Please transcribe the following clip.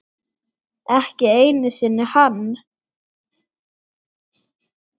Ekki einu sinni hann.